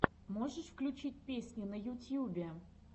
можешь включить песни на ютьюбе